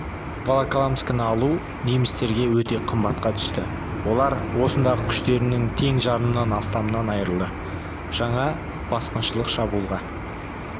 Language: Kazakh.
волоколамскіні алу немістерге өте қымбатқа түсті олар осындағы күштерінің тең жарымнан астамынан айырылды жаңа басқыншылық шабуылға